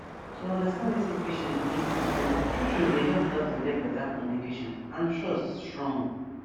to understand wetin patient believe true true true true dey help doctor get better communication and trust strong